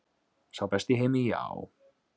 Sá besti í heimi, já.